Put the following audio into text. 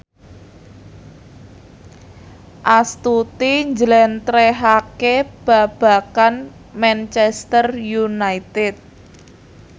Astuti njlentrehake babagan Manchester united